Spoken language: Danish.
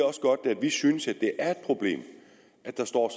også godt at vi synes at det er et problem at der står